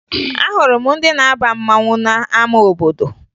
Ahụrụ m ndị na-aba mmanwụ n'ama obodo